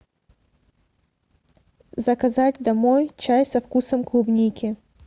заказать домой чай со вкусом клубники